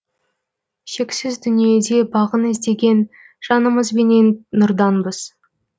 шексіз дүниеде бағын іздеген жанымызбенен нұрданбыз